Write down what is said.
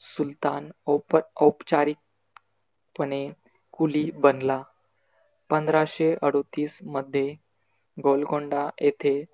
सुलतान ओप औपचारीक पणे कुली बनला. पंधराशे अडौतीस मध्ये गोलकोंडा येथे